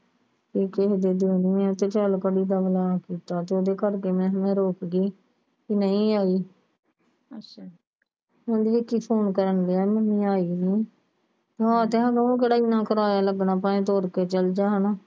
ਉਹ ਕਹੀ ਦਾ ਦਿਨੋਂ ਦਿਨ ਚੱਲ ਕਹੀ ਦਾ ਅਗਲਾ ਕਿਤਾ ਜਿਹੜੇ ਕਰਕੇ ਮੈਂ ਕਿਹਾ ਮੈਂ ਰੁੱਕ ਗੀ ਗਈ ਤੇ ਨਹੀਂ ਆਈ ਹੁਣ ਵੇਖੀ ਫੋਨ ਕਰਨ ਡੀ ਆ Mummy ਆਈ ਨੀ ਹਾਂ ਤੇ ਉਹਨੂੰ ਕਿਹੜਾ ਇਹਨਾਂ ਕਰਾਇਆ ਲੱਗਣਾ ਭੈਣ ਕੋਲ ਚੱਲਦਾ ਹਣਾ